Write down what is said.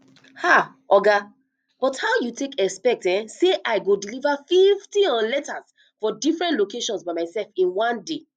um oga but how you expet um say i go deliver fifty um letters for different locations by myself in one day